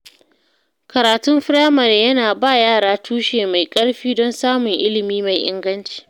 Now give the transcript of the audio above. Karatun firamare yana ba yara tushe mai ƙarfi don samun ilimi mai inganci.